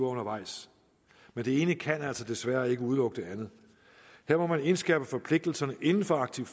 undervejs men det ene kan altså desværre ikke udelukke det andet her må man indskærpe forpligtelserne inden for arctic